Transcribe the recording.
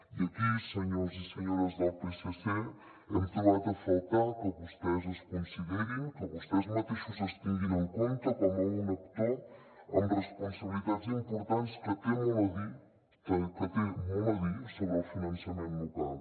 i aquí senyors i senyores del psc hem trobat a faltar que vostès es considerin que vostès mateixos es tinguin en compte com un actor amb responsabilitats importants que té molt a dir que té molt a dir sobre el finançament local